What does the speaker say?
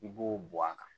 I b'o bɔ a kan